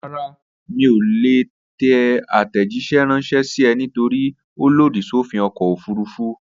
Rárá, mi ò ní lè tẹ àtẹ̀jíṣẹ́ ránṣẹ́ sí ẹ nítorípé ó lòdì sófin ọkọ̀ òfurufú